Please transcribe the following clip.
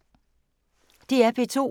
DR P2